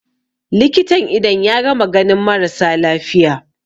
likitan idon ya gama ganin marasa lafiya